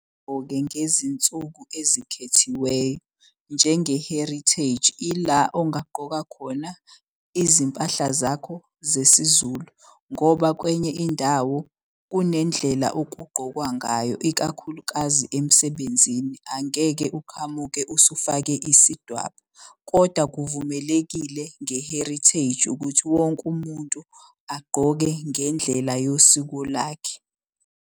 Ngezinsuku ezikhethiweyo njenge-Heritage. Ila ongaqoka khona izimpahla zakho zesiZulu ngoba kwenye indawo kunendlela okugqokwayo ngayo ikakhulukazi emsebenzini. Angeke uqhamuke usufake isidwaba kodwa kuvumelekile nge-Heritage ukuthi wonke umuntu agqoke ngendlela yosiko lakhe.